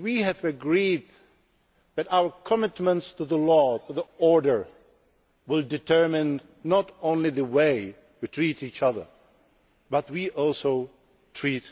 We have agreed that our commitments to law and to order will determine not only the way we treat each other but also how we treat